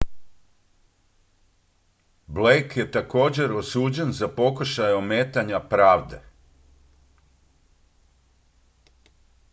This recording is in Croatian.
blake je također osuđen za pokušaj ometanja pravde